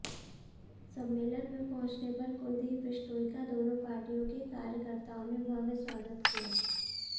सम्मेलन में पहुंचने पर कुलदीप बिश्नोई का दोनों पार्टियों के कार्यकत्र्ताओं ने भव्य स्वागत किया